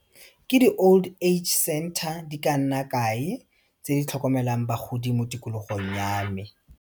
Ke di-old age center di ka nna kae tse di tlhokomelang bagodi mo tikologong ya me.